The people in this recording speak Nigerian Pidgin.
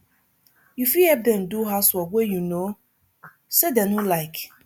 you fit help them do house wrok wey you know sey dem no like